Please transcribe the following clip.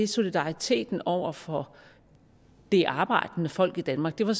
solidariteten over for det arbejdende folk i danmark det var